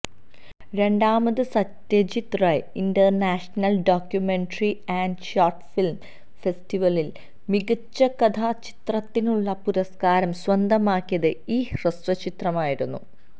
രണ്ടാമത് Satyajit Ray international documentary and short film ഫെസ്റ്റിവലിൽ മികച്ച കഥാചിത്രത്തിനുള്ള പുരസ്ക്കാരം സ്വന്തമാക്കിയത് ഈ ഹ്രസ്വചിത്രമായിരുന്നു